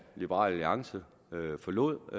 liberal alliance forlod